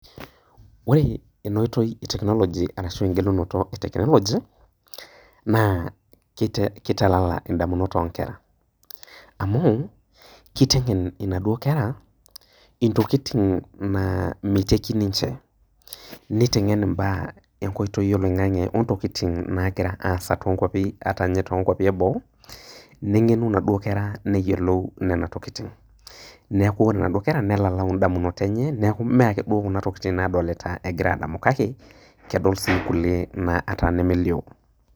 Ore enoitoi e technology ashu enkoitoi e technology na kitalala ndamunot onkera amu kitengen naduo kera inatokitin na miteki ninche nitengen mbaa tenkoitoi oloingani nitengen mbaa nagira aasa ata nye tonkwapi eboo nengenu naduo kera neyiolou ntokitin neaku ore naduo kera nelalau ndamunot enye neaku ore naduo kera kedol sii nkulie ataa nemelio.